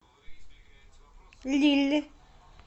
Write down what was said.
лилль